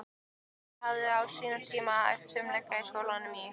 Ég hafði á sínum tíma æft fimleika í skólanum í